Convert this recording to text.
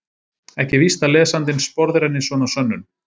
Ekki er víst að lesandinn sporðrenni svona sönnun.